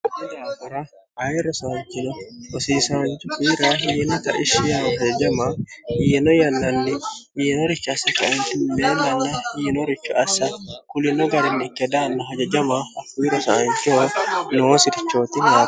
odaafora ayi rosaanchino osiisaanchu hira hiinota ishiya hajajama yiino yannanni miinorichi assi kaenti meellanni hiinoricho assa kulino garinni ikke daanno hajajama hokumi rosaanshiho noo si'richooti no